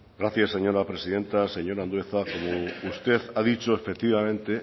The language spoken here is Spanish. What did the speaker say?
gracias señora presidenta señor andueza usted ha dicho efectivamente